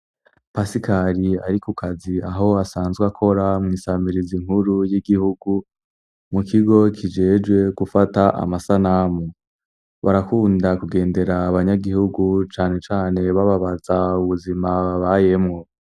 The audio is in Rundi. Pasikari ari ku kazi aho asanzwe akora mwisamirizi nkuru y'igihugu, mu kigo kijejwe gufata amasanamu ,barakunda kugendera abanyagihugu cane cane bababaza ubuzima babayemwo.